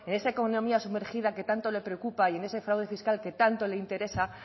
en esa economía sumergida que tanto le preocupa y en ese fraude fiscal que tanto le interesa